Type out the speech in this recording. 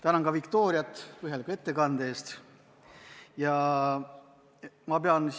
Tänan ka Viktoriat põhjaliku ettekande eest!